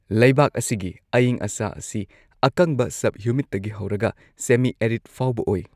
ꯂꯩꯕꯥꯛ ꯑꯁꯤꯒꯤ ꯑꯏꯪ ꯑꯁꯥ ꯑꯁꯤ ꯑꯀꯪꯕ ꯁꯕ ꯍ꯭ꯌꯨꯃꯤꯗꯇꯒꯤ ꯍꯧꯔꯒ ꯁꯦꯃꯤ ꯑꯦꯔꯤꯗ ꯐꯥꯎꯕ ꯑꯣꯏ꯫